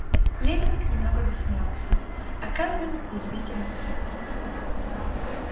лэннинг негромко засмеялся а кэлвин язвительно усмехнулась